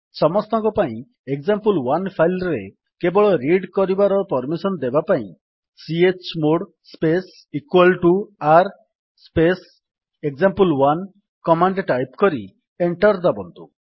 ସମସ୍ତଙ୍କ ପାଇଁ example one file ରେ କେବଳ ରିଡ୍ କରିବାର ପର୍ମିସନ୍ ଦେବା ପାଇଁ chmod space r space example one command type କରି ଏଣ୍ଟର୍ ଦାବନ୍ତୁ